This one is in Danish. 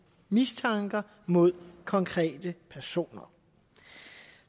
mistanker mod konkrete personer